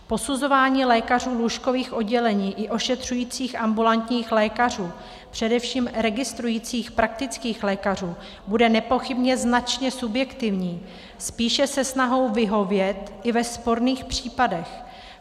Posuzování lékařů lůžkových oddělení i ošetřujících ambulantních lékařů, především registrujících praktických lékařů, bude nepochybně značně subjektivní, spíše se snahou vyhovět i ve sporných případech.